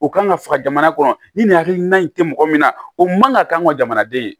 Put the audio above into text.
O kan ka faga jamana kɔnɔ ni nin hakilina in tɛ mɔgɔ min na o man kan ka k'an ka jamanaden ye